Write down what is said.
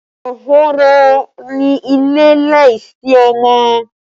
Ahoro ni ilé láìsí ọmọ